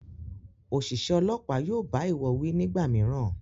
Oṣiṣẹ Ọlọ́pàá yóò bá iwọ wí nígbàmìíràn